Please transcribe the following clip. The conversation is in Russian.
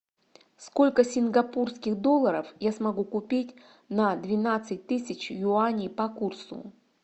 сколько сингапурских долларов я смогу купить на двенадцать тысяч юаней по курсу